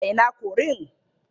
A ina korin?